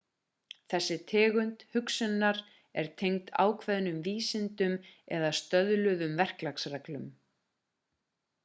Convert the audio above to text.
þessi tegund hugsunnar er tengd ákveðnum vísindum eða stöðluðum verklagsreglum